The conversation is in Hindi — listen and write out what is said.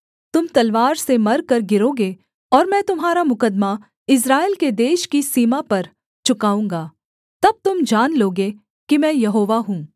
तुम तलवार से मरकर गिरोगे और मैं तुम्हारा मुकद्दमा इस्राएल के देश की सीमा पर चुकाऊँगा तब तुम जान लोगे कि मैं यहोवा हूँ